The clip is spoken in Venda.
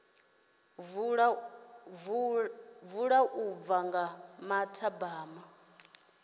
vula u bva nga mathabama